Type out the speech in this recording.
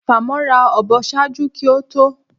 Famọra a ọbọ ṣaaju ki o to,?